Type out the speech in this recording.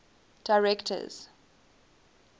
directors